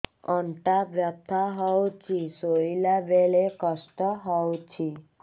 ଅଣ୍ଟା ବଥା ହଉଛି ଶୋଇଲା ବେଳେ କଷ୍ଟ ହଉଛି